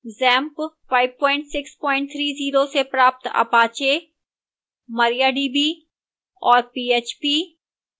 xampp 5630 से प्राप्त apache mariadb और php